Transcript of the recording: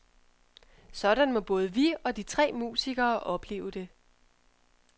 Sådan må både vi og de tre musikere opleve det.